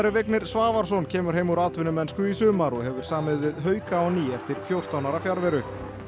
Vignir Svavarsson kemur heim úr atvinnumennsku í sumar og hefur samið við hauka á ný eftir fjórtán ára fjarveru